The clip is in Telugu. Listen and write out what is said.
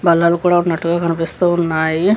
బల్లలు కూడా ఉన్నట్టుగా కనిపిస్తూ ఉన్నాయి.